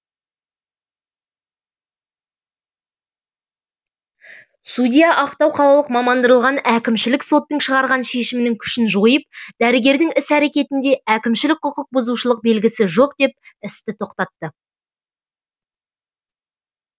судья ақтау қалалық мамандандырылған әкімшілік соттың шығарған шешімінің күшін жойып дәрігердің іс әрекетінде әкімшілік құқық бұзушылық белгісі жоқ деп істі тоқтатты